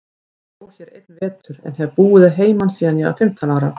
Ég bjó hér einn vetur, en hef búið að heiman síðan ég var fimmtán ára.